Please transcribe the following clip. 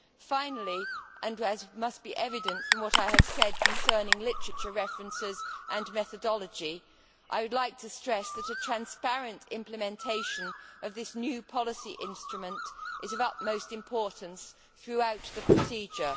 Finally, and as must be evident from what I have said concerning literature references and methodology, I would like to stress that a transparent implementation of this new policy instrument is of utmost importance throughout the procedure.